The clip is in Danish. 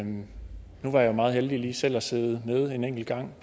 nu var jeg jo meget heldig selv lige at sidde med en enkelt gang